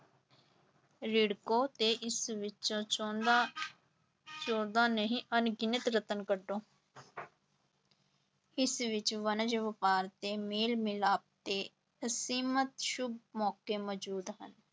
ਰਿੜਕੋ ਤੇ ਇਸ ਵਿੱਚੋਂ ਚਾਹੁੰਦਾ ਚੌਦਾਂ ਨਹੀਂ ਅਣਗਿਣਤ ਰਤਨ ਕੱਢੋ ਇਸ ਵਿੱਚ ਵਣਜ ਵਾਪਾਰ ਤੇ ਮੇਲ ਮਿਲਾਪ ਦੇ ਅਸੀਮਤ ਸੁੱਭ ਮੌਕੇ ਮੌਜੂਦ ਹਨ।